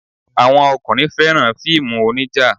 Àwọn ọkùnrin fẹ́ràn fíìmù onija.